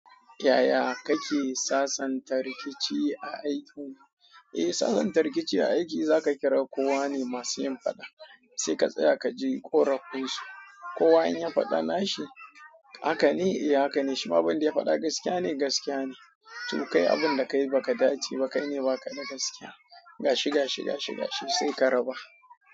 Yaya kake sasanta rikici a aiki? Eh, sasanta rikici a aiki za ka kira kowa ne masu yin faɗa, sai ka tsaya ka ji ƙorafin su. Kowa in ya faɗa na shi, haka ne? Eh haka ne. Shima abindabya fada gaskiya ne gaskiya ne to kai abun da ka yi ba ka dace ba, kai ne baka da gaskiya. Gashi, gashi, gashi, gashi sai ka raba.